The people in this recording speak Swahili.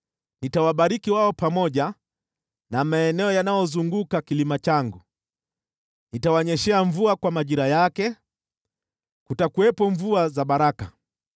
Nitawabariki wao pamoja na maeneo yanayozunguka kilima changu. Nitawanyeshea mvua kwa majira yake, kutakuwepo mvua za baraka.